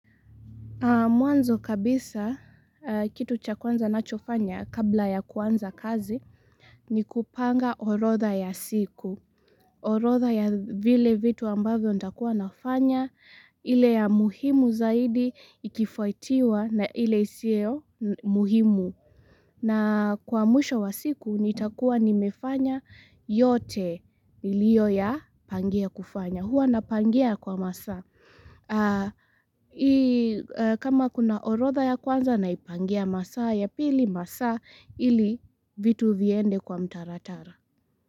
Mwanzo kabisa, kitu cha kwanza nachofanya kabla ya kwanza kazi, ni kupanga orodha ya siku. Orodha ya vile vitu ambavyo ntakua nafanya, ile ya muhimu zaidi, ikifuatiwa, na ile isiyo muhimu. Na kwa mwisho wa siku, nitakua nimefanya yote niliyoyapangia kufanya. Hua napangia kwa masaa. Kama kuna orodha ya kwanza naipangia masaa ya pili masaa ili vitu viende kwa mtaratara.